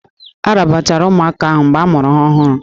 A rabara ụmụaka ahụ mgbe a mụrụ ha ọhụrụ